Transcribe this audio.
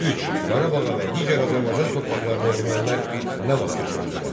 3. Qarabağa və digər Azərbaycan torpaqlarına ermənilər nə vaxt köçürüldülər?